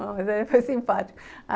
Mas ele foi simpático.